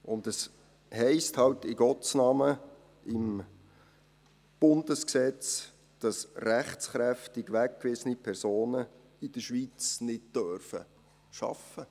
Es heisst halt in Gottes Namen im Bundesgesetz, dass rechtskräftig weggewiesene Personen in der Schweiz nicht arbeiten dürfen.